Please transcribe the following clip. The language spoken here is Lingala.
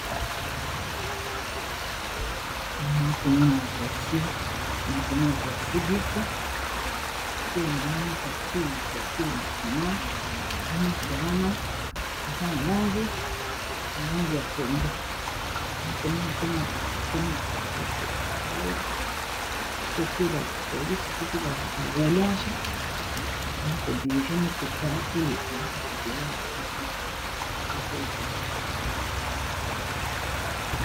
Na komona ba taxi na komona taxi bis pe na moni taxi voiture na sima nyonso wana eza na langi ngangi ya pondu na komona pena bato batemi na katikati ya balbala to pe ba polisi to pe baroulage bakodirige mituka eleka na nzela malamu po te etuta bato te